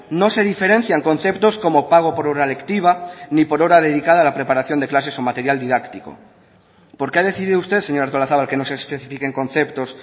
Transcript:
no se diferencian conceptos como pago por hora lectiva ni por hora dedicada a la preparación de clases o material didáctico por qué ha decidido usted señora artolazabal que no se especifiquen conceptos